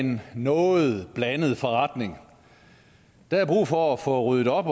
en noget blandet forretning der er brug for at få ryddet op